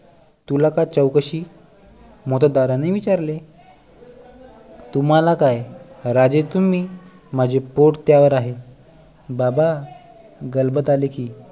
तुला का चौकशी मोत्तद्दाराने विचारले तुम्हाला काय राजे तुम्ही माझे पोट त्यावर आहे दादा गलबत आले की